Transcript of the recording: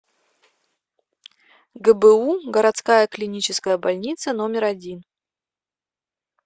гбу городская клиническая больница номер один